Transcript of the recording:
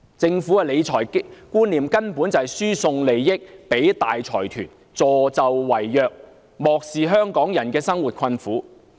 政府的理財觀念，根本就是輸送利益予大財團，助紂為虐，漠視香港人的生活困苦的景況。